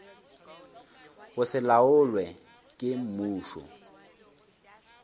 go se laolwe ke mmušo